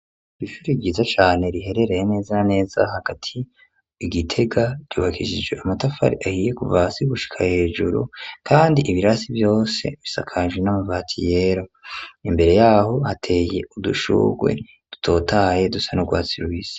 Ishuri ryiza cane, riherereye neza na neza hagati i Gitega, ryubakishije amatafari ahiye kuva hasi gushika hejuru, kandi ibirasi vyose bisakaje n'amabati yera, imbere y'aho hateye udushurwe dutotahaye dusa n'urwatsi rubisi.